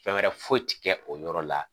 Fɛn wɛrɛ foyi ti kɛ o yɔrɔ la.